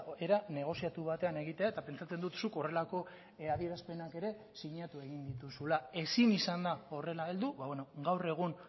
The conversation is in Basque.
era negoziatu batean egitea eta pentsatzen dut zuk horrelako adierazpenak ere sinatu egin dituzula ezin izan da horrela heldu gaur egun